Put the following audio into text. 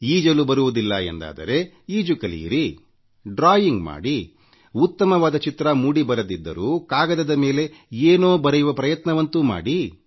ಈಜಲು ಬರುವುದಿಲ್ಲ ಎಂದಾದರೆ ಈಜು ಕಲಿಯಿರಿ ಡ್ರಾಯಿಂಗ್ ಮಾಡಿ ಉತ್ತಮವಾದ ಚಿತ್ರ ಮೂಡಿ ಬರದಿದ್ದರೂ ಕಾಗದದ ಮೇಲೆ ಕೈಯಿಟ್ಟು ಏನೋ ಬರೆಯುವ ಪ್ರಯತ್ನವಂತೂ ಮಾಡಿ